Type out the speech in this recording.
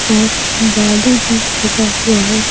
और बालू भी रखा हुआ है।